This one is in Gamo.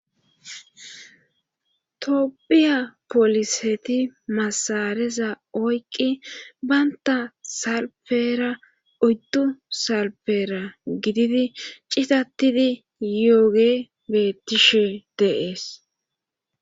toopiya poliseti masareza oyqqi baynta salpera oyddu salpera gididi citattidi yooge bettishe deees